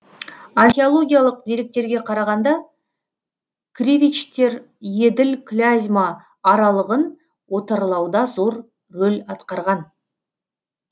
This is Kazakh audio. археологиялық деректерге қарағанда кривичтер еділ клязьма аралығын отарлауда зор рөл атқарған